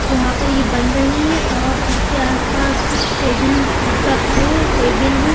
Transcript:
यहां पर ये बन रहे है और इसके आस पास कुछ टेबिल रखा है टेबिल है।